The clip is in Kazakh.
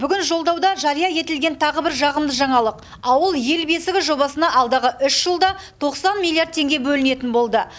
бүгін жолдауда жария етілген тағы бір жағымды жаңалық ауыл ел бесігі жобасына алдағы үш жылда тоқсан миллиард теңге бөлінетін болды